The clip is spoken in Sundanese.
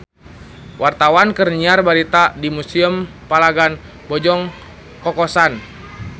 Wartawan keur nyiar berita di Museum Palagan Bojong Kokosan